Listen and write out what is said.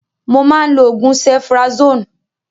Mo máa ń lò oògùn cephrazone